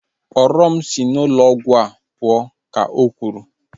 Kpọrọ m si n'ụlọ ọgwụ a pụọ! ka o kwuru